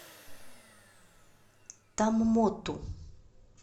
томмоту